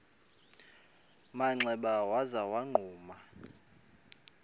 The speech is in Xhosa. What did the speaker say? manxeba waza wagquma